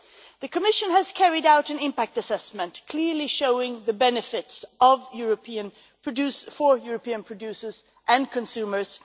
The Commission has carried out an impact assessment, clearly showing the benefits of these agreements for European producers and consumers.